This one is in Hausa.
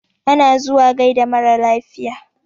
Ana zuwa gaida marar lafiya.